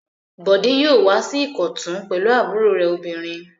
Bọ̀dé yóò wá sí Ìkọ̀tún pẹ̀lú àbúrò rẹ̀ obìnrin.